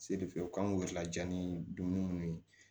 Se de fɛ u kan k'u yɛrɛ laja ni dumuni minnu ye